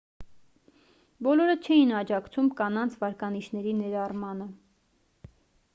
բոլորը չէին աջակցում կանանց վարկանիշների ներառմանը